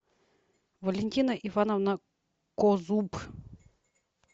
валентина ивановна козуб